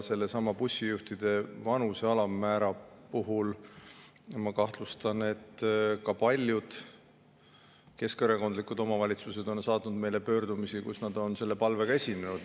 Bussijuhtide vanuse alammäära puhul ma kahtlustan, et ka paljud keskerakondlikud omavalitsused on saatnud meile pöördumisi, kus nad on selle palvega esinenud.